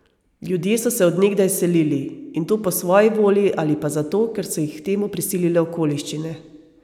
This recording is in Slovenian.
Ljudje so se od nekdaj selili, in to po svoji volji ali pa zato, ker so jih k temu prisilile okoliščine.